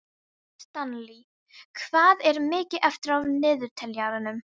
Stanley, hvað er mikið eftir af niðurteljaranum?